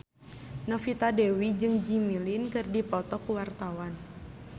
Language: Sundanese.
Novita Dewi jeung Jimmy Lin keur dipoto ku wartawan